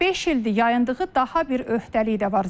Beş ildir yayındığı daha bir öhdəlik də var.